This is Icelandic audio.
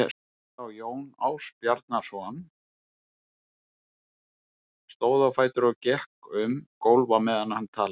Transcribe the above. sagði þá Jón Ásbjarnarson, stóð á fætur og gekk um gólf á meðan hann talaði